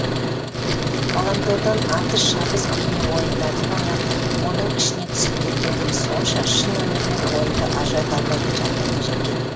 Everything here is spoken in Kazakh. ғаламтордан атыс шабыс бейнеойындарды ойнап оның ішіне түсіп кеткендігі сонша шын өмірмен ойынды ажырата алмайтын жағдайға жеткен